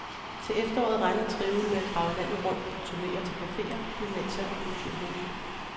Til efteråret regner trioen med at drage landet rundt på turne til caféer, gymnasier og kulturhuse.